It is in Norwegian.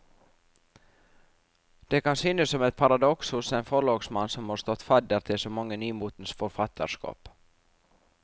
Det kan synes som et paradoks hos en forlagsmann som har stått fadder til så mange nymotens forfatterskap.